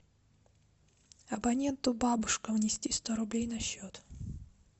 абоненту бабушка внести сто рублей на счет